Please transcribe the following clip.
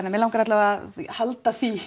að mig langar alla vega að halda því